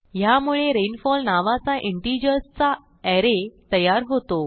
ह्यामुळे रेनफॉल नावाचा इंटिजर्स चा अरे तयार होतो